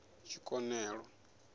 tshikonelo